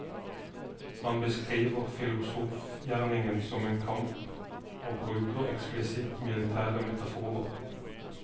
Han beskriver filosofgjerningen som en kamp og bruker eksplisitt militære metaforer.